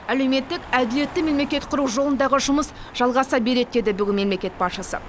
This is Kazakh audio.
әлеуметтік әділетті мемлекет құру жолындағы жұмыс жалғаса береді деді мемлекет басшысы